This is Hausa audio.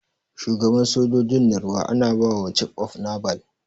Shuagaban sojojin na ruwa ana bawa cif of nabal.